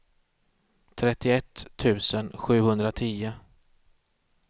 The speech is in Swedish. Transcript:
trettioett tusen sjuhundratio